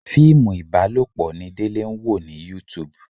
Fíìmù ibalopo ni Délé ń wò ní YouTube.